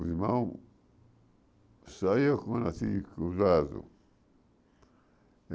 Os irmãos saíam com cruzados.